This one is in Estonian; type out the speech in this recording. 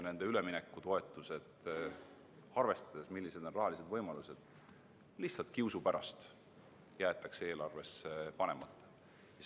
Nende üleminekutoetused, arvestades seda, millised on rahalised võimalused, jäetakse lihtsalt kiusu pärast eelarvesse panemata.